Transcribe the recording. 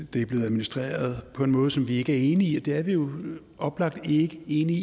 det er blevet administreret på en måde som vi ikke enige i og det er vi jo oplagt ikke enige i